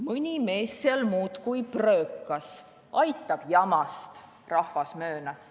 Mõni mees seal muudkui pröökas, aitab jamast – rahvas möönas.